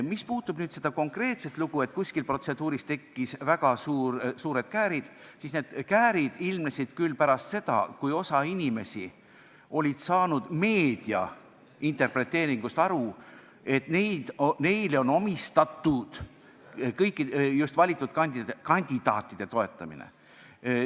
Mis puudutab seda konkreetset lugu, et kuskil protseduuris tekkisid väga suured käärid, siis need käärid ilmnesid pärast seda, kui osa inimesi oli meedia interpreteeringust saanud aru nii, et neile on omistatud just valitud kandidaatide toetamine.